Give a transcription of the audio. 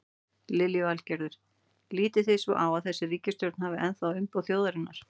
Lillý Valgerður: Lítið þið svo á að þessi ríkisstjórn hafi ennþá umboð þjóðarinnar?